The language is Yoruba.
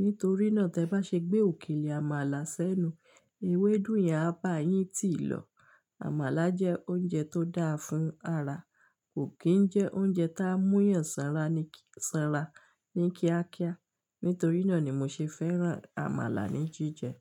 Nítorí náà tí ẹ bá ṣe gbé òkèlè àmàlà sẹ́nu, ewédú yẹn á bá yín tì lọ. Àmàlà jẹ́ oúnjẹ tó dáa fún ara, kò kì n jẹ́ oúnjẹ tí á mú yàn sanra ní kí-- sanra ní kíákíá. Nítorí náà ni mo ṣe fẹ́ràn àmàlà ní jíjẹ.